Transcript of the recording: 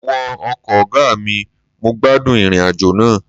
Mo wọ ọkọ̀ ọgá mi, mo gbádùn ìrìn àjò náà